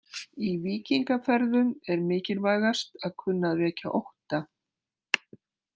Í víkingaferðum er mikilvægast að kunna að vekja ótta.